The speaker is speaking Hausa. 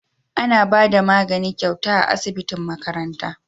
Ana Bada magani gyauta a asibitin makaranta